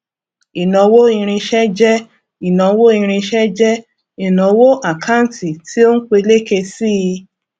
ìnáwó irinṣẹ jẹ ìnáwó irinṣẹ jẹ ìnáwó àkántì tí ó ń peléke sí i